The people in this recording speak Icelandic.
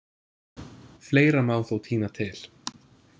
Fleira má þó tína til.